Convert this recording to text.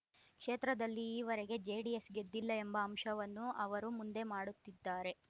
ಕ್ಷೇತ್ರದಲ್ಲಿ ಈವರೆಗೆ ಜೆಡಿಎಸ್‌ ಗೆದ್ದಿಲ್ಲ ಎಂಬ ಅಂಶವನ್ನು ಅವರು ಮುಂದೆ ಮಾಡುತ್ತಿದ್ದಾರೆ